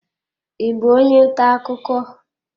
Ị bụ onye ntà akụkọ?